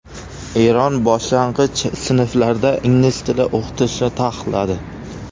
Eron boshlang‘ich sinflarda ingliz tili o‘qitishni taqiqladi.